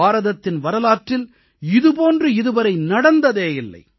பாரதத்தின் வரலாற்றில் இது போன்று இதுவரை நடந்ததே இல்லை